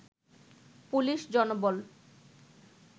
police জনবল